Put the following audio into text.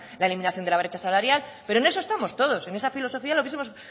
la eliminación de la brecha salarial pero en eso estamos todos en esa filosofía lo hubiesemos